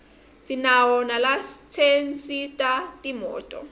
sinawo nalatsensisa timoto